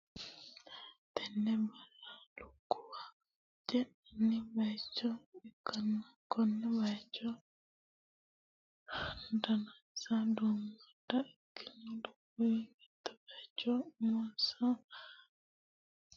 tenne basera lukkuwa ce'nanni bayicho ikkanna, konne bayichono danansa duummadda ikkino lukkuwi mitto bayicho umonsa heeshshi yee worrooninsa waa aganni nooha ikkanno.